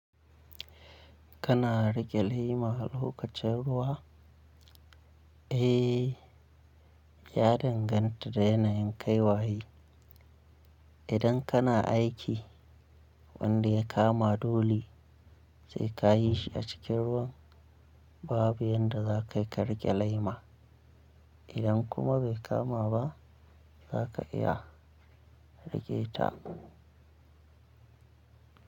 Kana rike lema lokacin ruwa? Eh, ya danganta da yanayin kai waye. Idan kana aiki wanda ya kama dole sai ka yi shi a cikin ruwan babu yadda za ka rike lema. Idan kuma bai kama ba za ka iya rike ta.